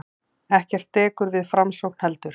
Ekkert dekur við framsókn heldur.